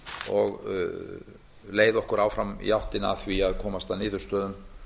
og leiða okkur áfram í áttina að því að komast að niðurstöðu